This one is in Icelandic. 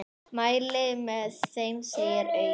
Mæli með þeim, segir Auður.